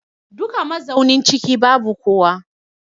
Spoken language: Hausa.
Duka mazaunin ciki babu kowa.